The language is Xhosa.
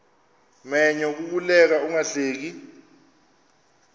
menyo kukuleka ungahleki